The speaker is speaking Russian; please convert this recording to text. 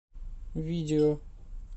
видео